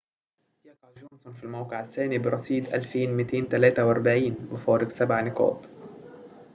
يقع جونسون في الموقع الثاني برصيد 2243 بفارق سبع نقاطٍ